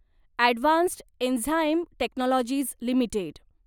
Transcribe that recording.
advanced enzyme technologies limited